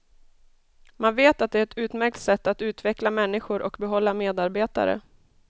Man vet att det är ett utmärkt sätt att utveckla människor och behålla medarbetare.